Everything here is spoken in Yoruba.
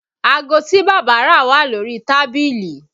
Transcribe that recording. Aago tí bàbá rà wà lórí tábìlì